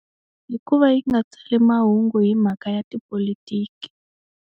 Hikuva yi nga tsali mahungu hi mhaka ya tipolitiki.